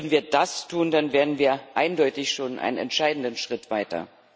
Würden wir das tun, dann wären wir eindeutig schon einen entscheidenden Schritt weiter.